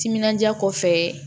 Timinandiya kɔ fɛ